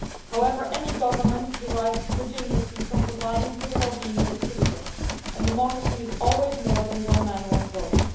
However, any government derives its legitimacy from providing for the wellbeing of its citizens, and democracy is always more than one man, one vote'.